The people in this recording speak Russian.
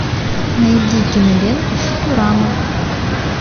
найди киноленту футурама